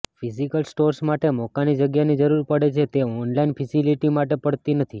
physical stores માટે મોકાની જગ્યાની જરૃર પડે છે તે ઓનલાઈન ફેસિલિટી માટે પડતી નથી